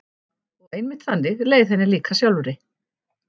Og einmitt þannig leið henni líka sjálfri.